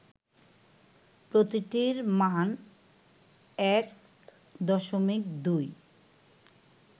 প্রতিটির মান ১.২